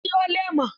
Ya siyo lema.